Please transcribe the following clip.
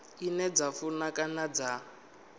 ine dza funa kana dza